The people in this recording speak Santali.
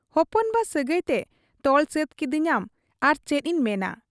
ᱦᱚᱯᱚᱱ ᱵᱟ ᱥᱟᱹᱜᱟᱹᱭᱛᱮ ᱛᱚᱞ ᱥᱟᱹᱛ ᱠᱤᱫᱤᱧᱟᱢ ᱟᱨ ᱪᱮᱫ ᱤᱧ ᱢᱮᱱᱟ ᱾